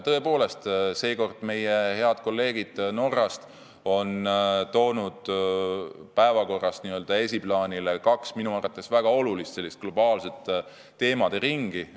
Tõepoolest, seekord on meie head kolleegid Norrast toonud esiplaanile kaks minu arvates väga olulist globaalset teemaringi.